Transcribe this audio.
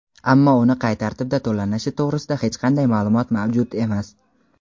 ammo uni qay tartibda to‘lanishi to‘g‘risida hech qanday ma’lumot mavjud emas.